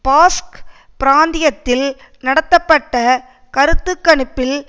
Basque பிராந்தியத்தில் நடத்தபப்பட்ட கருத்து கணிப்பில்